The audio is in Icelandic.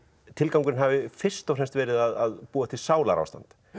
tilgangurinn hafi fyrst og fremst verið að búa til sálarástand